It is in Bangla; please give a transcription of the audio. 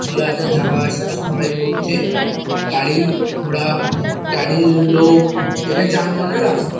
চলা-হাঁটা যাওয়া-আসা সবাই করছে। গাড়ি ঘোড়া গাড়ির লোক এটা যানবাহনের রাস্তা ।